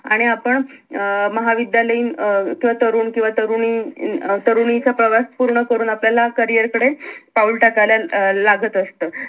आणि आपण अं महाविद्यालयीन अं किंवा तरुण किंवा तरुणी इ अं तरुणीचा प्रवास पूर्ण करून आपल्या ला career कडे पाऊल टाकायला अं लागत असत